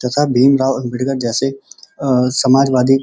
तथा भीमराव अम्बेडकर जैसे अ समाजवादी --